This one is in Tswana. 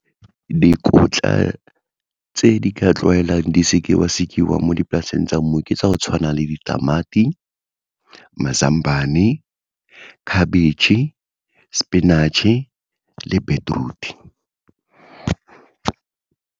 Dikotla tse di ka tlwaelang di sekiwa-sekiwa mo dipolaseng tsa mmu, ke tsa go tshwana le ditamati, mazambane, khabetšhe, sepinatšhe le beetroot-e.